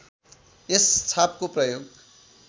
यस छापको प्रयोग